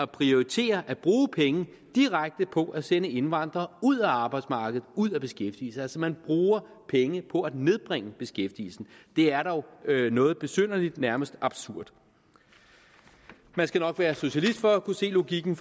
prioriterer at bruge penge på at sende indvandrere ud af arbejdsmarkedet og ud af beskæftigelse man bruger penge på at nedbringe beskæftigelsen det er dog noget besynderligt nærmest absurd man skal nok være socialist for at kunne se logikken